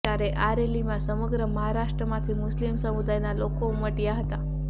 ત્યારે આ રેલીમાં સમગ્ર મહારાષ્ટ્રમાંથી મુસ્લિમ સમુદાયના લોકો ઉમટયા હતા